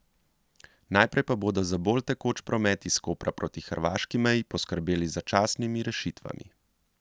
Najprej pa bodo za bolj tekoč promet iz Kopra proti hrvaški meji poskrbeli z začasnimi rešitvami.